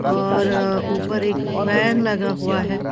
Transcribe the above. और ऊपर एक फैन लगा हुआ है।